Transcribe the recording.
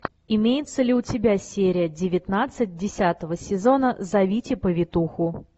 имеется ли у тебя серия девятнадцать десятого сезона зовите повитуху